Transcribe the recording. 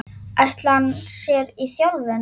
Ætlar hann sér í þjálfun?